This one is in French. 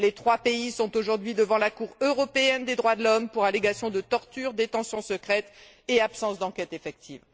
Ces trois pays sont aujourd'hui devant la Cour européenne des droits de l'homme pour allégations de torture, détention secrète et absence d'enquête effective.